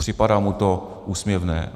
Připadá mu to úsměvné.